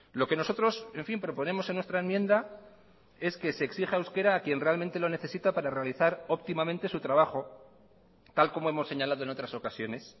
lo que nosotros en fin proponemos en nuestra enmienda es que se exija euskera a quien realmente lo necesita para realizar óptimamente su trabajo tal como hemos señalado en otras ocasiones